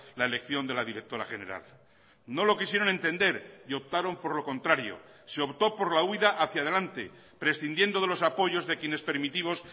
la elección de la directora general no lo quisieron entender y optaron por lo contrario se optó por la huída hacia adelante prescindiendo de los apoyos de quienes permitimos